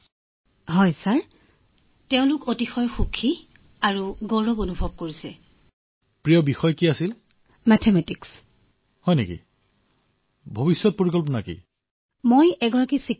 নহয় মহোদয় পাঁচ ফুট দুই ইঞ্চি